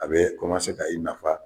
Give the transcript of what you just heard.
A bɛɛ ka i nafa